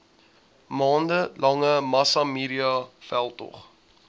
maande lange massamediaveldtog